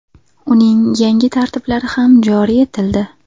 Uning yangi tartiblari ham joriy etildi .